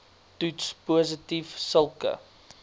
toets positief sulke